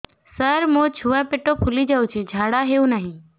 ସାର ମୋ ଛୁଆ ପେଟ ଫୁଲି ଯାଉଛି ଝାଡ଼ା ହେଉନାହିଁ